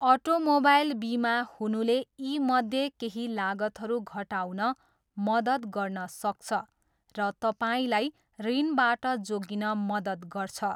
Automobile बिमा हुनुले यीमध्ये केही लागतहरू घटाउन मद्दत गर्न सक्छ र तपाईँलाई ऋणबाट जोगिन मद्दत गर्छ।